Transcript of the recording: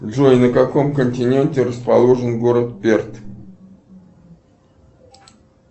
джой на каком континенте расположен город перт